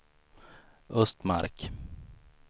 Östmark